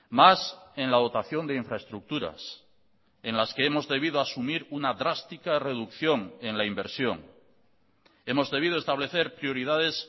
más en la dotación de infraestructuras en las que hemos debido asumir una drástica reducción en la inversión hemos debido establecer prioridades